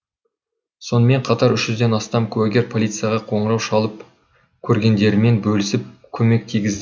сонымен қатар үш жүзден астам куәгер полицияға қоңырау шалып көргендерімен бөлісіп көмек тигізді